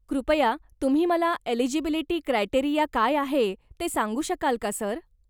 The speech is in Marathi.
कृपया तुम्ही मला एलीजीबिलीटी क्रायटेरीया काय आहे ते सांगू शकाल का, सर?